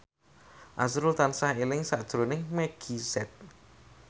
azrul tansah eling sakjroning Meggie Z